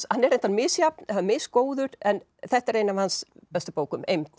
hann er reyndar misjafn eða mis góður en þetta er ein af hans bestu bókum eymd